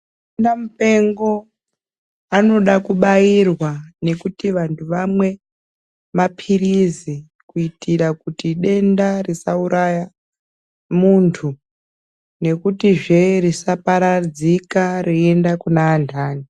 Mamupengo anoda kubairwa nekuti vantu vamwe mapirizi kuitira kuti denda risauraya muntu nekutizve risaparadzika reienda kune antani.